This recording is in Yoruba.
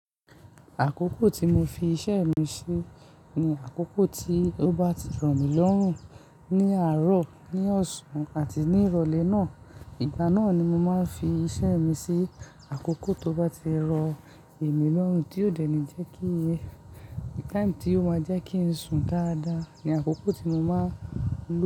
Àkókò tí mo fi iṣẹ́ mi sí ni àkókò tí ó bá ti rọ̀ mí lọ́rùn. Ni àárọ̀, ní ọ̀sán àti ní ìrọ̀lẹ́ náà. Ìgbà náà ni mo máa ń fi iṣẹ́ mi sí. Àkókò tó bá ti rọ̀ èmi lọ́rùn tí ó dènì jẹ́ kí, táì tí ó máa jẹ́ kí n sùn dáadáa ni àkókò tí mo máa ń.